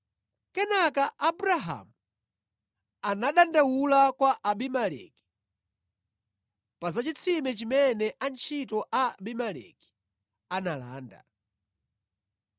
Kenaka Abrahamu anadandaula kwa Abimeleki pa za chitsime chimene antchito a Abimeleki analanda.